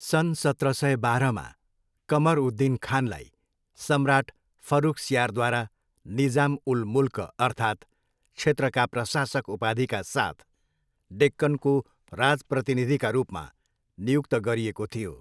सन् सत्र सय बाह्रमा, कमर उद दिन खानलाई सम्राट फर्रुखसियारद्वारा निजाम उल मुल्क अर्थात् क्षेत्रका प्रशासक उपाधिका साथ डेक्कनको राजप्रतिनिधिका रूपमा नियुक्त गरिएको थियो।